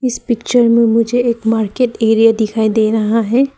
इस पिक्चर में मुझे एक मार्केट एरिया दिखाई दे रहा है।